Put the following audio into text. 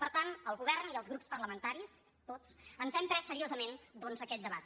per tant el govern i els grups parlamentaris tots ens hem pres seriosament aquest debat